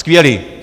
Skvělý.